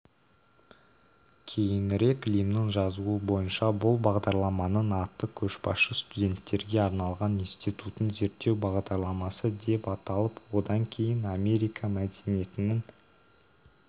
кейінірек лимннің жазуы бойынша бұл бағдарламаның аты көшбасшы студенттерге арналған институтын зерттеу бағдарламасы деп аталып одан кейін америка мәдениетінің